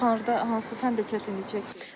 Ən çox harda hansı fəndə çətinlik çəkdiz?